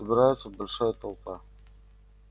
собирается большая толпа